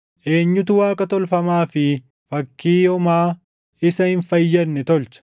Eenyutu waaqa tolfamaa fi fakkii homaa isa hin fayyadne tolcha?